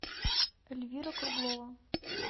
эльвира круглова